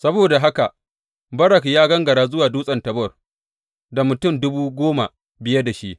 Saboda haka Barak ya gangara zuwa Dutsen Tabor, da mutum dubu goma biye da shi.